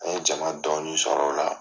An ye jama dɔɔni sɔrɔ o la